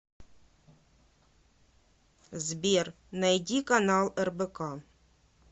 сбер найди канал рбк